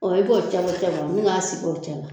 i b'o cɛ bɔ cɛ bɔ nin ka sigi o cɛla